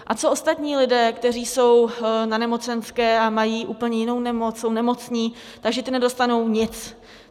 A co ostatní lidé, kteří jsou na nemocenské a mají úplně jinou nemoc, jsou nemocní, takže ti nedostanou nic.